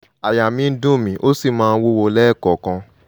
àyà mi ń dùn mí ó sì máa ń wúwo lẹ́ẹ̀kọ̀ọ̀kan